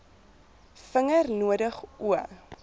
vinger nodig o